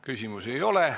Küsimusi ei ole.